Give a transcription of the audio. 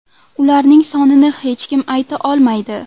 Ularning sonini hech kim ayta olmaydi.